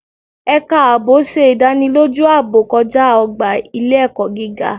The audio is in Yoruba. Ẹ̀ka ààbò ṣe ìdánilójú ààbò kọjá ọgbà ile-ẹkọ gíga